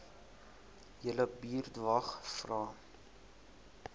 julle buurtwag vra